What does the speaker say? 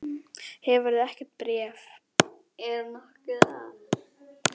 Hefurðu ekkert bréf?